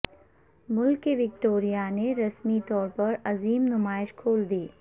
ملکہ Victoria نے رسمی طور پر عظیم نمائش کھول دی